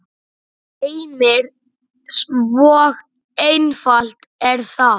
Heimir: Svo einfalt er það?